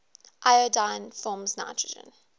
iodine forms nitrogen